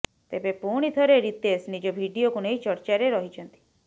ତେବେ ପୁଣି ଥରେ ରିତେଶ ନିଜ ଭିଡିଓକୁ ନେଇ ଚର୍ଚ୍ଚାରେ ରହିଛନ୍ତି